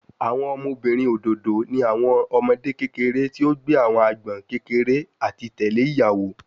Awọn ọmọbirin ododo ni awọn ọmọde kekere ti o gbe awọn agbọn kekere ati tẹle iyawo